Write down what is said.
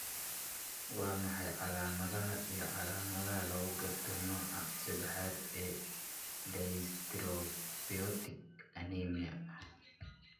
Waa maxay calaamadaha iyo calaamadaha lagu garto nooca seddaxaad ee dyserythropoietic anemia?